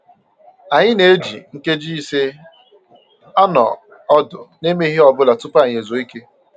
Anyị na-eji nkeji ise anọ ọdụ na-emeghị ihe ọbụla tupu anyị ezuo ike